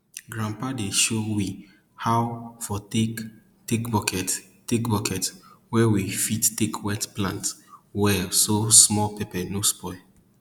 grandpapa dey show we how for take take bucket take bucket wey we fit take wet plant well so small pepper no spoil